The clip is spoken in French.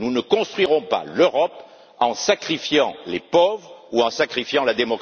Nous ne construirons pas l'Europe en sacrifiant les pauvres ou en sacrifiant la